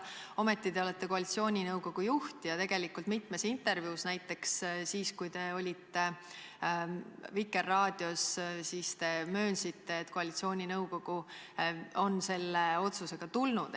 Ometi te olete koalitsiooninõukogu juht ja tegelikult mitmes intervjuus möönnud – näiteks siis, kui te olite Vikerraadios –, et koalitsiooninõukogu on selle otsusega tulnud.